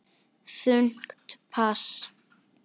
Þungt pass.